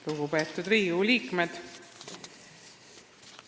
Lugupeetud Riigikogu liikmed!